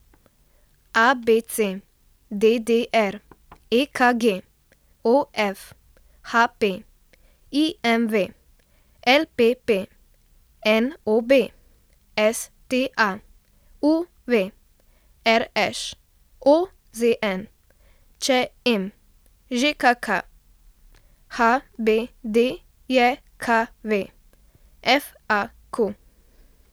ABC, DDR, EKG, OF, HP, IMV, LPP, NOB, STA, UV, RŠ, OZN, ČM, ŽKK, HBDJKV, FAQ.